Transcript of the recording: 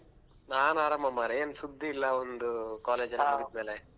ನಾನ್ ಆರಾಮ್ ಮಾರ್ರೆ ಏನ್ ಸುದ್ದಿ ಇಲ್ಲಾ ಒಂದು college ಎಲ್ಲ ಮುಗಿದ್ಮೇಲೆ.